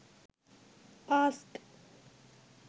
ask